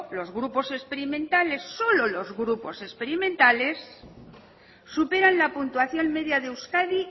los grupos experimentales solo los grupos experimentales superan la puntuación media de euskadi